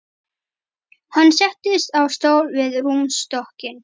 Hann settist á stól við rúmstokkinn.